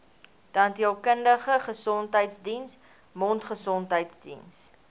tandheelkundige gesondheidsdiens mondgesondheidsdiens